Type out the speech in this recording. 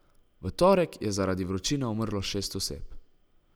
V torek je zaradi vročine umrlo šest oseb.